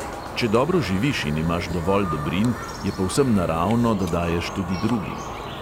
Če dobro živiš in imaš dovolj dobrin, je povsem naravno, da daješ tudi drugim.